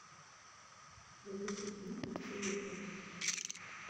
запусти кино паршивые овцы